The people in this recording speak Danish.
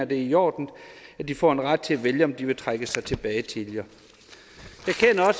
det er i orden at de får en ret til at vælge om de vil trække sig tilbage tidligere